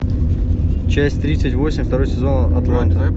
часть тридцать восемь второй сезон атланта